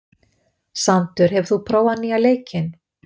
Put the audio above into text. Sandur, hefur þú prófað nýja leikinn?